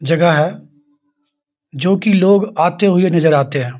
जगह है जो की लोग आते हुए नजर आते हैं